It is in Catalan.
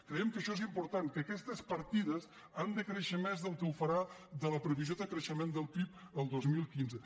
creiem que això és important que aquestes partides han de créixer més que la previsió de creixement del pib el dos mil quinze